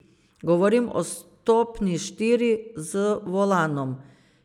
Govorim o stopnji štiri, z volanom.